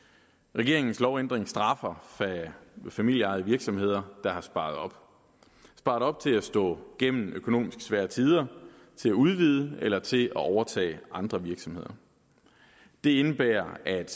regeringens lovændring straffer familieejede virksomheder der har sparet op sparet op til at stå igennem økonomisk svære tider til at udvide eller til at overtage andre virksomheder det indebærer at